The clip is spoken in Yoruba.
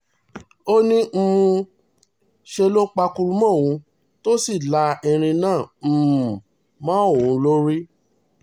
ó ní um ṣe ló pàkúrú mọ́ òun tó sì la irin náà um mọ́ òun lórí